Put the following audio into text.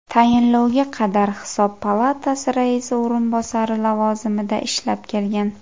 Tayinlovga qadar Hisob palatasi raisi o‘rinbosari lavozimida ishlab kelgan.